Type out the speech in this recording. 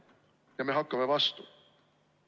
Ja me hakkame vastu.